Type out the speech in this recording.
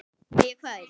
Spyrja hvern?